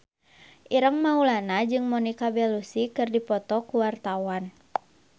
Ireng Maulana jeung Monica Belluci keur dipoto ku wartawan